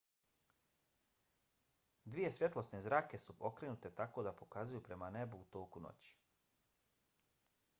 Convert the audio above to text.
dvije svjetlosne zrake su okrenute tako da pokazuju prema nebu u toku noći